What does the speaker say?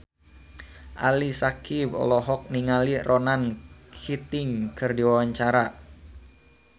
Ali Syakieb olohok ningali Ronan Keating keur diwawancara